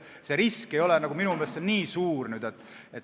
See risk ei ole minu meelest nii suur.